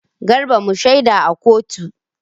Garba mu shaida a kotu.